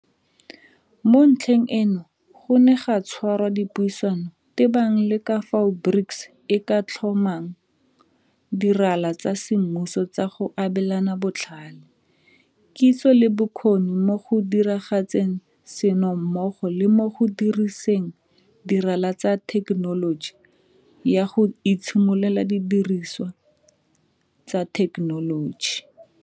Mo ntlheng eno go ne ga tshwarwa dipuisano tebang le ka fao BRICS e ka tlhomang dirala tsa semmuso tsa go abelana botlhale, kitso le bokgoni mo go diragatseng seno mmogo le mo go diriseng dirala tsa thekenoloji ya go itshimololela didiriswa tsa thekenoloji.